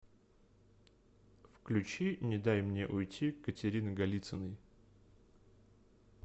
включи не дай мне уйти катерины голицыной